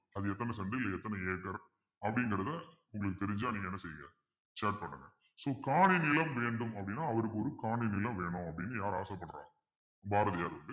அது எத்தனை cent ல் எத்தனை ஏக்கர் அப்படிங்கிறத உங்களுக்கு தெரிஞ்சா நீங்க என்ன செய்யுங்க share பண்ணுங்க so காணி நிலம் வேண்டும் அப்பிடின்னா அவருக்கு ஒரு காணி நிலம் வேணும் அப்பிடின்னு யாரு ஆசைப்படுறாங்க பாரதியார்